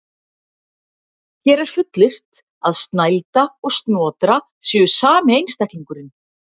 Hér er fullyrt að Snælda og Snotra séu sami einstaklingurinn.